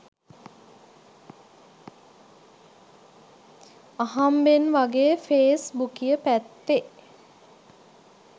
අහම්බෙන් වගේ ෆේස් බුකිය පැත්තෙ